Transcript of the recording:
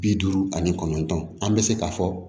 Bi duuru ani kɔnɔntɔn an bɛ se k'a fɔ